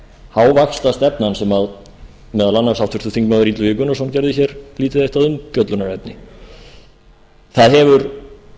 hávaxtastefnan sem meðal annars háttvirtur þingmaður illugi gunnarsson gerði lítið eitt af umfjöllunarefni það hefur